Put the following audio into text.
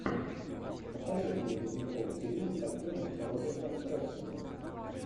посоветуй мне ледниковый период с актером робертом редфордом